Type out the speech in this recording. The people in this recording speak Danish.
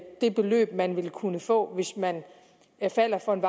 det beløb man vil kunne få hvis man falder for en